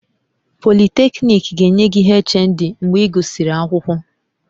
Polytechnic ga-enye gị HND mgbe ị gụsịrị akwụkwọ